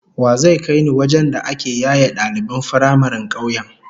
Wa zai kai ni wajen da ake yaye daliban firamaren kauyen?